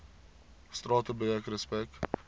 strate breek respek